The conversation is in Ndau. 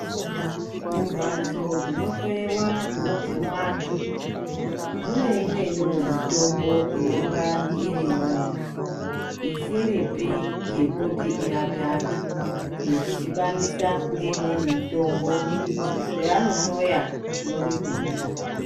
Mumbatso dzinohloyewa zvinobve pavandu mune imweniwo mutombo inonga irimwo isiripi yekuti irape andu yekudhibanisa ngeimweni mitombo kuti zvaanohloya zvione kubuda